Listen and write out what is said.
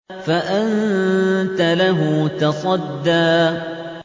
فَأَنتَ لَهُ تَصَدَّىٰ